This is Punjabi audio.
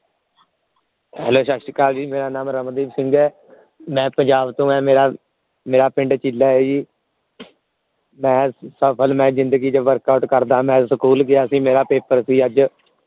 ਸਤਿ ਸ੍ਰੀ ਅਕਾਲ ਜੀ ਮੇਰਾ ਨਾਮ ਰਮਨਦੀਪ ਸਿੰਘ ਹੈ ਮਈ ਪੁਂਜਾਬ ਤੋਂ ਆਏ ਮੇਰਾ ਮੇਰਾ ਪਿੰਡ ਚੀਲਾ ਹੈ ਜੀ ਮਈ ਸਫਲ ਜ਼ਿੰਦਗੀ ਚ workout ਕਰਦਾ ਜੀ ਮਈ ਸਕੂਲ ਗਿਆ ਸੀ ਮੇਰਾ ਪੇਪਰ ਸੀ ਅੱਜ